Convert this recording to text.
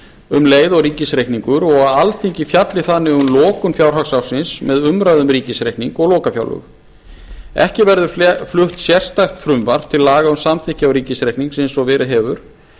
um leið og ríkisreikningur og að alþingi fjalli þannig um lokun fjárhagsársins með umræðu um ríkisreikning og lokafjárlög ekki verður flutt sérstakt frumvarp til laga um samþykkt ríkisreiknings eins og verið hefur